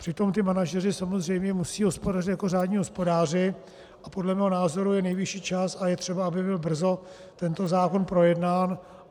Přitom ti manažeři samozřejmě musí hospodařit jako řádní hospodáři a podle mého názoru je nejvyšší čas a je třeba, aby byl brzo tento zákon projednán.